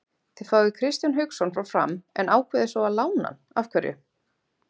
Þið fáið Kristján Hauksson frá Fram en ákveðið svo að lána hann af hverju?